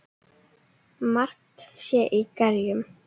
Margt sé í gerjum.